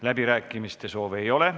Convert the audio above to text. Läbirääkimiste soovi ei ole.